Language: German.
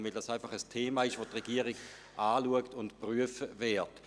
Es ist ein Thema, welches die Regierung anschauen und prüfen wird.